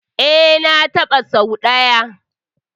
E, na taɓa sau ɗaya.